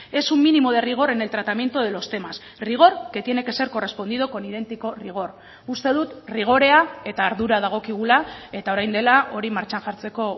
es un mínimo de rigor en el tratamiento de los temas rigor que tiene que ser correspondido con idéntico rigor uste dut rigorea eta ardura dagokigula eta orain dela hori martxan jartzeko